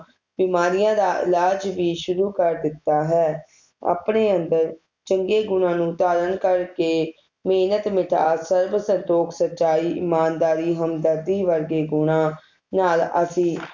ਬਿਮਾਰੀਆਂ ਦਾ ਇਲਾਜ ਵੀ ਸ਼ੁਰੂ ਕੇ ਦਿੱਤਾ ਹੈ ਆਪਣੇ ਅੰਦਰ ਚੰਗੇ ਗੁਣਾ ਨੂੰ ਧਾਰਨ ਕਰਕੇ ਮੇਹਨਤ ਮਿਠਾਸ ਸਰਬ ਸੰਤੋਖ ਸਚਾਈ ਇਮਾਨਦਾਰੀ ਹਮਦਰਦੀ ਵਰਗੇ ਗੁਣਾ ਨਾਲ ਅਸੀਂ